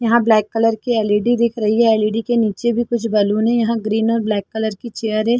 यहाँ black colour की LED दिख रही है ऐल_इ_डी के नीचे भी कुछ बलून है यहाँ ग्रीन और ब्लैक की चेयर है।